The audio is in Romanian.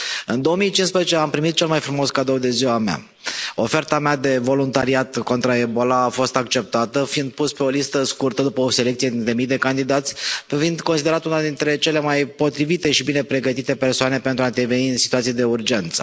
În 2015 am primit cel mai frumos cadou de ziua mea, oferta mea de voluntariat contra Ebola a fost acceptată, fiind pus pe o listă scurtă după o selecție dintre mii de candidați, fiind considerat una dintre cele mai potrivite și bine pregătite persoane pentru a interveni în situații de urgență.